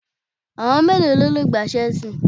Àwọn mélòó ló le gbá Ṣẹ́ẹ́sì?